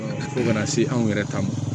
Fo kana se anw yɛrɛ ta ma